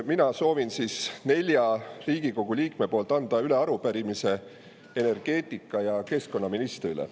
Mina soovin nelja Riigikogu liikme poolt üle anda arupärimise energeetika- ja keskkonnaministrile.